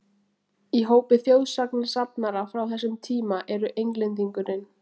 Í hópi þjóðsagnasafnara frá þessum tíma eru Englendingurinn